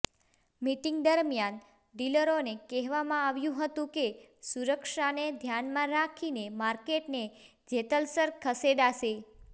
meeting દરમિયાન ડીલરોને કહેવામાં આવ્યું હતું કે સુરક્ષાને ધ્યાનમાં રાખીને માર્કેટને જેતલસર ખસેડાશે